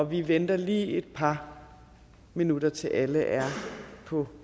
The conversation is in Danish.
vi venter lige et par minutter til alle er på